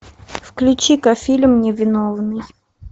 включи ка фильм невиновный